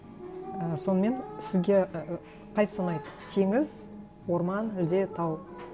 і сонымен сізге і қайсысы ұнайды теңіз орман әлде тау